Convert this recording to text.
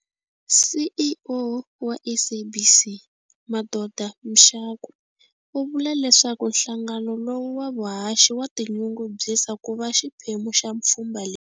CEO wa SABC Madoda Mxakwe u vula leswaku nhlangano lowu wa vuhaxi wa tinyungubyisa ku va xiphemu xa pfhumba leri.